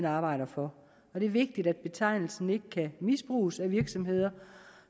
arbejder for og det er vigtigt at betegnelsen ikke kan misbruges af virksomheder